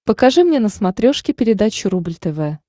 покажи мне на смотрешке передачу рубль тв